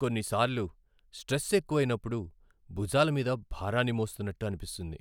కొన్నిసార్లు, స్ట్రెస్ ఎక్కువైనప్పుడు, భుజాల మీద భారాన్ని మోస్తున్నట్టు అనిపిస్తుంది.